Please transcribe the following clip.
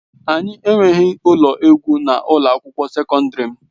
Anyị enweghị ụlọ egwu na ụlọ akwụkwọ sekọndrị m.